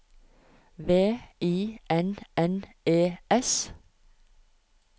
V I N N E S